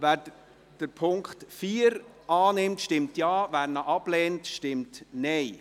Wer den Punkt 4 annimmt, stimmt Ja, wer diesen ablehnt, stimmt Nein.